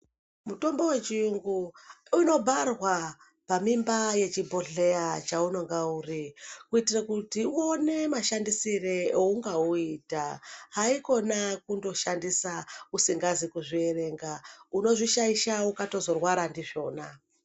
Mutombo we chiyungu unobharwa pa mimba yechi bhohleya cha unonga uri kuitire kuti uone mashandisire eunga uyita haikona kundo shandisa usingazi kuzvi erenga unozvi shaisha ukatozo rwara ndizvona.